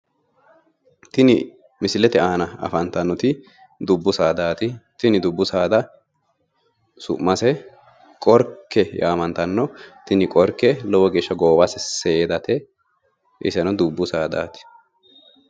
Tini misilete aana afantannoti dubbu saadaati. Tini dubbu saada su'mase qorke yaamantanno tini qorke lowo geeshsha goowase seedate iseno dubbu saadaati.